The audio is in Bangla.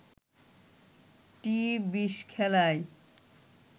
টি-২০ খেলায়